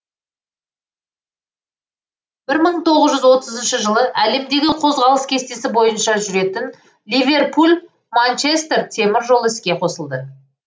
бір мың тоғыз жүз отызыншы жылы әлемдегі қозғалыс кестесі бойынша жүретін ливерпуль манчестер темір жолы іске қосылды